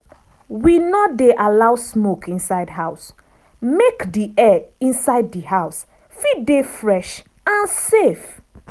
we no dey allow smoke inside house make di air inside di house fit dey fresh and safe.